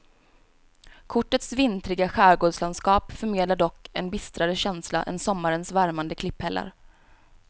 Kortets vintriga skärgårdslandskap förmedlar dock en bistrare känsla än sommarens värmande klipphällar.